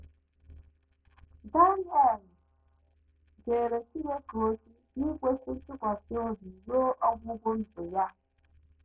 Daniel jeere Chineke ozi n’ikwesị ntụkwasị obi ruo ọgwụgwụ ndụ ya.